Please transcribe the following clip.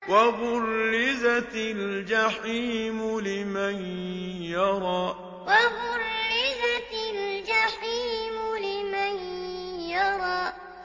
وَبُرِّزَتِ الْجَحِيمُ لِمَن يَرَىٰ وَبُرِّزَتِ الْجَحِيمُ لِمَن يَرَىٰ